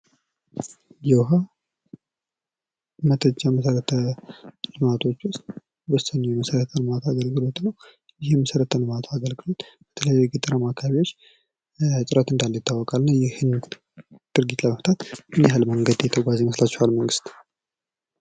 ዉሃ ከመሰረተ ልማት አገልግሎቶች ዉስጥ ወሳኝ የሆነ መሰረታዊ አገልግሎት ነው ይህም የመሰረተ ልማት አገልግሎት የተለያዩ የገጠር አካባቢዎች እጥረት እንዳለ ይታወቃል እና ይሀን ችግር ለመፍታት ምን ያክል የተጓዘ ይመስላችኋል መንግስት?